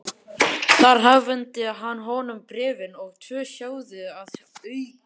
Þar afhenti hann honum bréfin og tvo sjóði að auki.